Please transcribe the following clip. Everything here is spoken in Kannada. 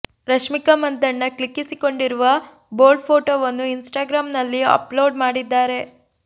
ರಶ್ಮಿಕಾ ಮಂದಣ್ಣ ಕ್ಲಿಕ್ಕಿಸಿಕೊಂಡಿರುವ ಬೋಲ್ಡ್ ಫೋಟೋವನ್ನು ಇನ್ಸ್ಟಾಗ್ರಾಮ್ ನಲ್ಲಿ ಅಪ್ ಲೋಡ್ ಮಾಡಿದ್ದಾರೆ